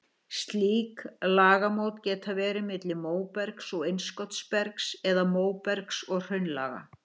Slík lagamót geta verið milli móbergs og innskotsbergs eða móbergs og hraunlaga.